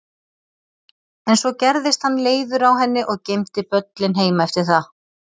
En svo gerðist hann leiður á henni og geymdi böllinn heima eftir það.